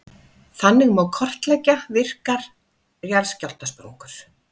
Þannig má kortleggja virkar jarðskjálftasprungur.